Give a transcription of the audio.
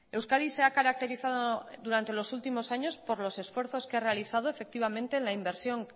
euskadi se ha caracterizado durante los últimos años por los esfuerzos que ha realizado en la inversión